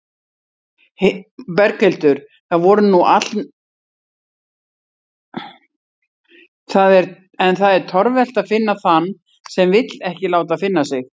En það er torvelt að finna þann sem vill ekki láta finna sig.